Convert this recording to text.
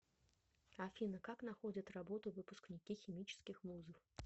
афина как находят работу выпускники химических вузов